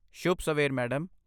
ਸ਼ੁੱਭ ਸਵੇਰ, ਮੈਡਮ।